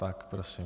Tak prosím.